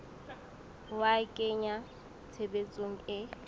ho a kenya tshebetsong e